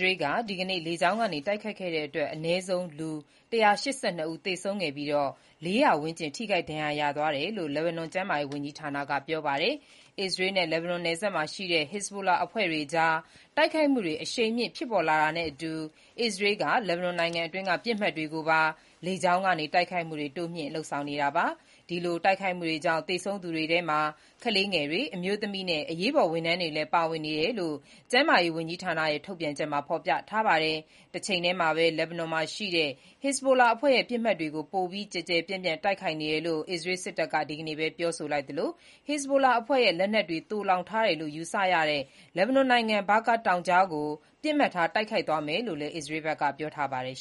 ရေးက ဒီကနေ့ လေကြောင်းက တိုက်ခိုက်ခဲ့တဲ့အတွက် အနည်းဆုံး လူ ၁၈၂ ဦး သေဆုံးပြီး ၄၀၀ ဝန်းကျင် ထိခိုက် ဒဏ်ရာရသွားတယ်လို့ လက်ဘနွန် ကျန်းမာရေးဝန်ကြီးဌာနက ပြောပါတယ်။ အစ္စရေး-လက်ဘနွန် နယ်စပ်မှာရှိတဲ့ Hezbollah အဖွဲ့အကြား တိုက်ခိုက်မှုတွေ အရှိန်မြင့် ဖြစ်ပေါ်လာတာနဲ့အတူ အစ္စရေးက လက်ဘနွန်နိုင်ငံအတွင်းက ပစ်မှတ်တွေကိုပါ လေကြောင်းကနေ တိုက်ခိုက်မှုတွေလည်း တိုးမြင့် လုပ်ဆောင်လာနေတာပါ။ သေဆုံးသူတွေထဲမှာ ကလေးငယ်တွေ၊ အမျိုးသမီးနဲ့ အရေးပေါ် ဝန်ထမ်းတွေလည်းပါဝင်နေကြောင်း ကျန်းမာရေး ဝန်ကြီးဌာနရဲ့ ထုတ်ပြန်ချက်မှာ ဖော်ပြထားပါတယ်။ တချိန်တည်းမှာဘဲ လက်ဘနွန်မှာရှိတဲ့ Hezbollah အဖွဲ့ရဲ့ပစ်မှတ်တွေကို ပိုပြီး ကျယ်ကျယ်ပြန့်ပြန့် တိုက်ခိုက်နေတယ်လို့ အစ္စရေးစစ်တပ်က ဒီနေ့ပဲ ပြောလိုက်သလို Hezbollah အဖွဲ့ရဲ့ လက်နက်တွေ သိုလှောင်ထားတယ်လို့ ယူဆရတဲ့ လက်ဘနွန်နိုင်ငံ Bakaa တောင်ကြားကို ပစ်မှတ်ထား တိုက်ခိုက်သွားမယ်လို့လည်း အစ္စရေးက ပြောပါတယ်